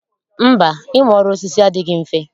Mba, ịmụ ọrụ osisi adịghị mfe